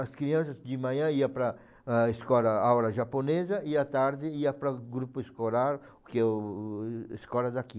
As crianças de manhã iam para para a escola, aula japonesa e à tarde ia para o grupo escolar, porque o o escola daqui.